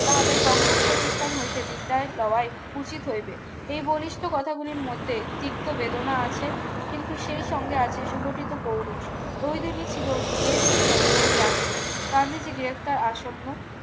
তাহাদের কংগ্রেস প্রতিষ্ঠান হইতে বিদ্যায়ের লড়াই উচিত হইবে এই বলিষ্ঠ কথাগুলির মধ্যে তিক্ত বেদনা আছে কিন্তু সেইসঙ্গে আছে সুগঠিত পৌরুষ ওই দিনই ছিল গেট সেমেনের রাত্রি গান্ধীজী গ্রেপ্তার আসন্ন